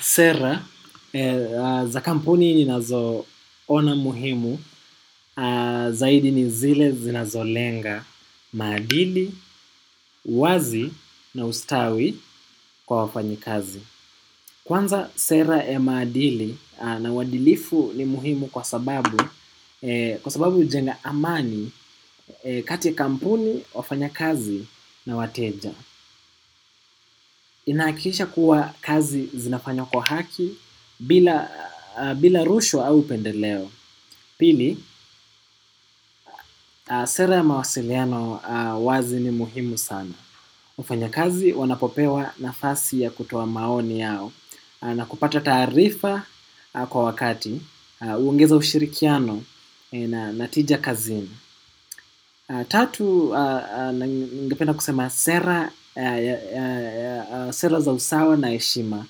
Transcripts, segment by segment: Sera za kampuni ninazoona muhimu, zaidi ni zile zinazolenga maadili, uwazi na ustawi kwa wafanyikazi. Kwanza sera ya madili na uadilifu ni muhimu kwa sababu, kwa sababu hujenga amani kati ya kampuni, wafanyakazi na wateja. Inahakikisha kuwa kazi zinafanywa kwa haki bila rushwa au upendeleo. Pili, sera ya mawasiliano wazi ni muhimu sana. Wafanyakazi wanapopewa nafasi ya kutoa maoni yao. Na kupata taarifa kwa wakati huongeza ushirikiano na tija kazini. Tatu ningependa kusema sera za usawa na heshima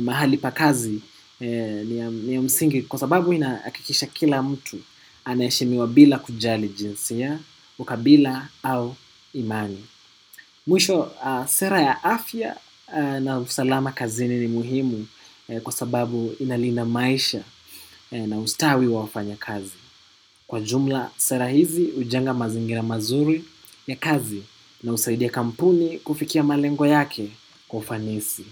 mahali pa kazi ni msingi kwa sababu inahakikisha kila mtu anaheshimiwa bila kujali jinsia, ukabila au imani. Mwisho, sera ya afya na usalama kazini ni muhimu kwa sababu ina lina maisha na ustawi wa wafanyakazi. Kwa jumla, sera hizi hujenga mazingira mazuri ya kazi na husaidia kampuni kufikia malengo yake kwa ufanisi.